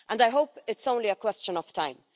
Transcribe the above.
I hope it's only a question of time.